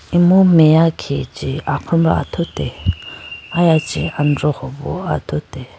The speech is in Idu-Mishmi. Emu meya khe chi akhombra athute aya chi androho bo athute.